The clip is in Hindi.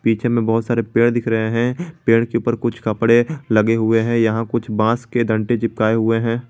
पीछे में बहुत सारे पेड़ दिख रहे हैं पेड़ के ऊपर कुछ कपड़े लगे हुए हैं यहां कुछ बांस के दंटे चिपकाए हुए हैं।